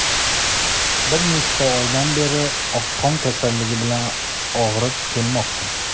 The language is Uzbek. Bir necha oydan beri oqqon kasalligi bilan og‘rib kelmoqda.